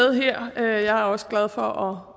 her jeg er også glad for